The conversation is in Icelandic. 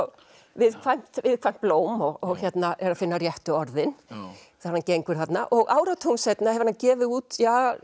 viðkvæmt viðkvæmt blóm og er að finna réttu orðin þegar hann gengur þarna og áratugum seinna hefur hann gefið út